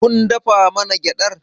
Kun dafa mana gyaɗar?